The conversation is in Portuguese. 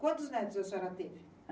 Quantos netos a senhora teve?